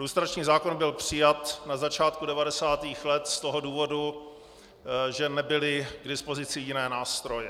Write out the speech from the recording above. Lustrační zákon byl přijat na začátku 90. let z toho důvodu, že nebyly k dispozici jiné nástroje.